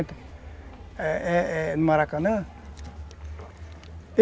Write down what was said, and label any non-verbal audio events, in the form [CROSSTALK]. [UNINTELLIGIBLE] É, é, no Maracanã [UNINTELLIGIBLE]